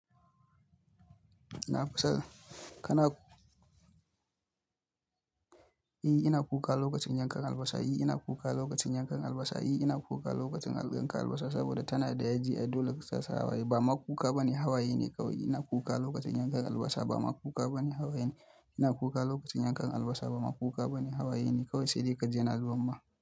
Ina fasala. Kana, ni ina kuka lokacin yankan albasa. Shin ina kuka lokacin yankan albasa? Eh ina kuka lokacin yankan albasa saboda ta na da yaji ai dole tasaka hawaye. Ba ma kuka bane, hawaye kawai. Ina kuka lokacin yankan albasa ba ma kuka bane, hawaye ne. Ina kuka lokacin yankan albasa ba ma kuka bane, hawaye ne. Kawai. Saidai kaji yana zuba ma.